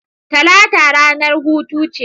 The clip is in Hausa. Talata ranar hutu ce